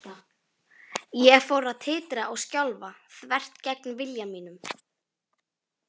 Ég fór að titra og skjálfa, þvert gegn vilja mínum.